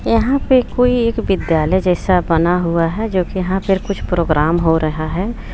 यहाँ पे कोई एक विद्यालय जैसा बना हुआ है जो कि यहाँ पर कुछ प्रोग्राम हो रहा है।